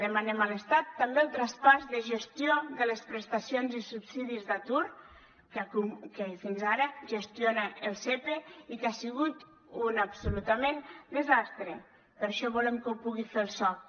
demanem a l’estat també el traspàs de gestió de les prestacions i subsidis d’atur que fins ara gestiona el sepe i que ha sigut un absolut desastre per això volem que ho pugui fer el soc